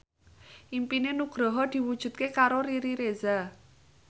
impine Nugroho diwujudke karo Riri Reza